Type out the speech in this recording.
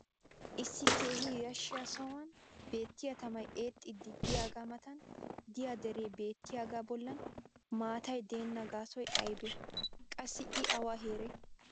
issi keehi yashshiyaa sohuwan beettiya tamay eexxiidi diyaagaa matan diya deree beetiyaaga bolan maatay deenna gaasoy aybee? qassi i awa heeree?